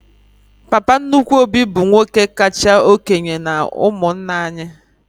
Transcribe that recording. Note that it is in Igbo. Papa nnukwu Obi bụ nwoke kacha okénye n'umunna anyị